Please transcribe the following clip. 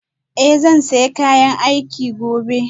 Eh zan sa kayana aiki gobe